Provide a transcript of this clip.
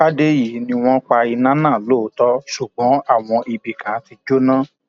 fàdèyí ni wọn pa iná náà lóòótọ ṣùgbọn àwọn ibì kan ti jóná